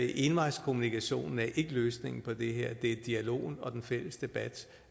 envejskommunikation er ikke løsningen på det her det er dialogen og den fælles debat